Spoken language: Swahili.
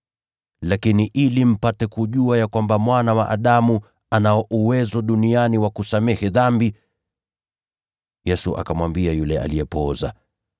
Lakini ili mpate kujua ya kwamba Mwana wa Adamu anayo mamlaka duniani kusamehe dhambi…” Yesu akamwambia yule aliyepooza,